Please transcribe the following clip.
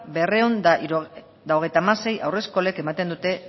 berrehun eta hogeita hamasei haur eskolek ematen dute